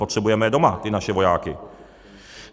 Potřebujeme je doma, ty naše vojáky.